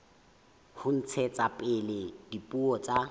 ho ntshetsa pele dipuo tsa